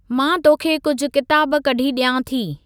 मां तोखे कुझु किताब कढी डि॒यां थी।